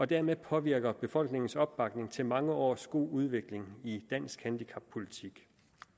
dermed påvirker befolkningens opbakning til mange års god udvikling i dansk handicappolitik